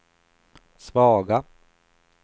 svaga